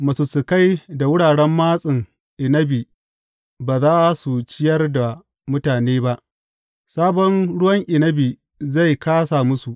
Masussukai da wuraren matsin inabi ba za su ciyar da mutane ba; sabon ruwan inabi zai kāsa musu.